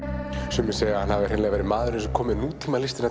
sumir segja að hann hafi hreinlega verið maðurinn sem kom með